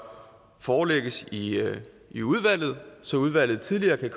forelægges i i udvalget så udvalget tidligere kan